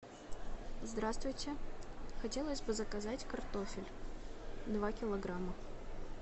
здравствуйте хотелось бы заказать картофель два килограмма